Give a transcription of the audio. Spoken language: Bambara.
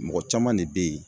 Mɔgɔ caman de be ye